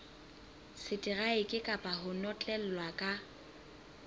seteraeke kapa ho notlellwa ka